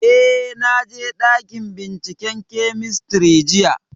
Eh, na je ɗakin binciken kemistri jiya